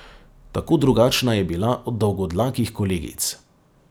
Tako drugačna je bila od dolgodlakih kolegic.